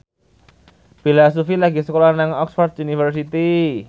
Bella Shofie lagi sekolah nang Oxford university